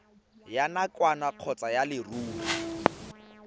ya nakwana kgotsa ya leruri